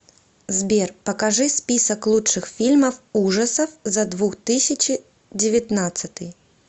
сбер покажи список лучших фильмов ужасов за двух тысячи девятнадцатый